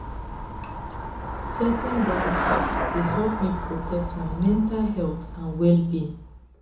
setting boundaries dey help me protect my mental health and well-being.